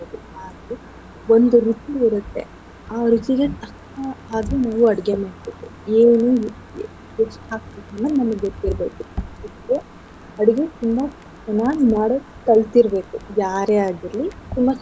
ಒಂದು ರುಚಿ ಇರತ್ತೆ ಆ ರುಚಿನೆ ಅಷ್ಟ ಹಾಗೆ ನೀವು ಅಡ್ಗೆ ಮಾಡ್ಬೇಕು ಏನು ಎಷ್ಟ್ ಹಾಕ್ಬೇಕು ಅನ್ನೋದ್ ನಿಮ್ಗ್ ಗೊತ್ತಿರ್ಬೇಕು ಅಡ್ಗೆ ತುಂಬಾ ಚೆನ್ನಾಗ್ ಮಾಡಕ್ ಕಲ್ತಿರ್ಬೇಕು ಯಾರೆ ಆಗಿರ್ಲಿ ತುಂಬಾ ಚೆನ್ನಾಗ್.